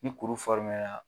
Ni kuru